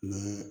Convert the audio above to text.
Ni